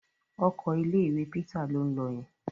Ọkọ̀ ilé-ìwé Peter ló ń lọ yẹn.